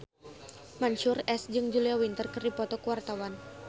Mansyur S jeung Julia Winter keur dipoto ku wartawan